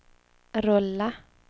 rulla